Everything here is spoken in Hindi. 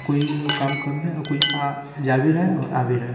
कोई काम कर रहा है और आ जा भी रहा है और कोई आ भी रहा।